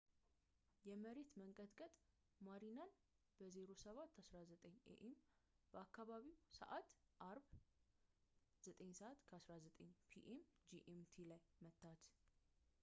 የመሬት መንቀጥቀጥ ማሪናን በ 07:19 ኤ.ኤም. በአካባቢው ሰዓት አርብ 09:19 ፒ.ኤም ጂኤምቲ ላይ መታት